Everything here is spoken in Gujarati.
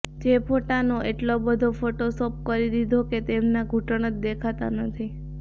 જે ફોટોને એટલો બધો ફોટોશોપ કરી દીધો કે તેમના ઘુટણ જ દેખાતા નથી